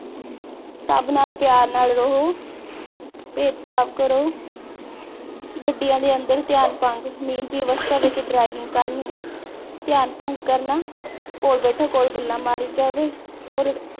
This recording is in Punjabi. ਸਭ ਨਾਲ ਪਿਆਰ ਨਾਲ ਰਹੋ, ਭੇਦਭਾਵ ਕਰੋ, ਗੱਡੀਆਂ ਦੇ ਅੰਦਰ ਧਿਆਨ ਭੰਗ, ਨੀਂਦ ਦੀ ਅਵਸਥਾ ਵਿਚ driving ਕਰਨੀ, ਧਿਆਨ ਭੰਗ ਕਰਨਾ, ਕੋਲ ਬੈਠੋ ਕੋਲ ਗੱਲਾਂ ਮਾਰੀ ਜਾਵੇ।